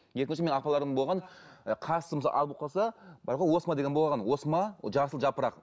менің апаларым болған ы қасы мысалға ақ болып қалса бар ғой осма деген болған осма ол жасыл жапырақ